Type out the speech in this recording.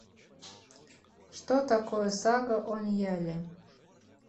что такое сага о ньяле